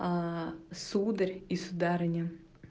сударь и сударыня